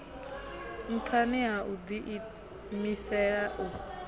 nṱhani ha u ḓiimisela u